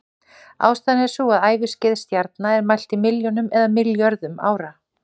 Ástæðan er sú að æviskeið stjarna er mælt í milljónum eða milljörðum ára.